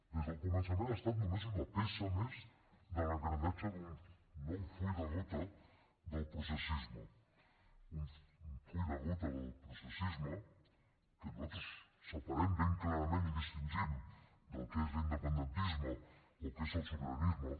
des del començament ha estat només una peça més de l’engranatge d’un nou full de ruta del processisme un full de ruta del processisme que nosaltres separem ben clarament i distingim del que és l’independentisme o el que és el sobiranisme